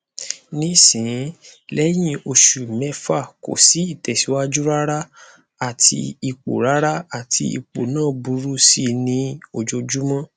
nisin lehin osu mefa ko si itesiwaju rara ati ipo rara ati ipo na buru si ni ojojumo